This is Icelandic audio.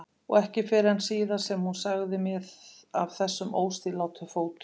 Og ekki fyrr en síðar sem hún sagði mér meira af þessum óstýrilátu fótum.